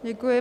Děkuji.